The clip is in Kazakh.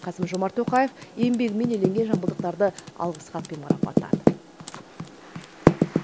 қасым жомарт тоқаев еңбегімен еленген жамбылдықтарды алғыс хатпен марапаттады